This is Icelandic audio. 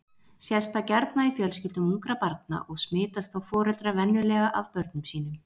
Sést það gjarna í fjölskyldum ungra barna og smitast þá foreldrar venjulega af börnum sínum.